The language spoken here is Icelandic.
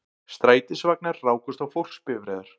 Strætisvagnar rákust á fólksbifreiðar